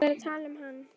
Ég var að tala um hann.